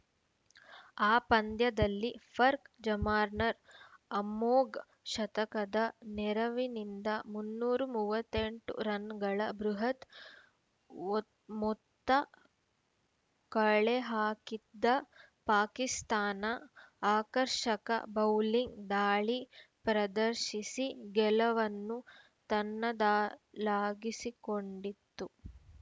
ಆ ಪಂದ್ಯದಲ್ಲಿ ಫರ್‌ಖ್ ಜಮಾನ್‌ರ ಅಮೋಘ ಶತಕದ ನೆರವಿನಿಂದ ಮುನ್ನೂರ ಮೂವತ್ತ್ ಎಂಟು ರನ್‌ಗಳ ಬೃಹತ್‌ ಮೊತ್ತ್ ಮೊತ್ತ ಕಳೆಹಾಕಿದ್ದ ಪಾಕಿಸ್ತಾನ ಆಕರ್ಷಕ ಬೌಲಿಂಗ್‌ ದಾಳಿ ಪ್ರದರ್ಶಿಸಿ ಗೆಲವನ್ನು ತನ್ನದಾಲಾಗಿಸಿಕೊಂಡಿತ್ತು